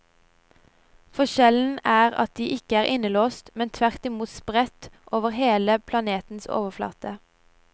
Forskjellen er at de ikke er innelåst, men tvertimot spredt over hele planetens overflate.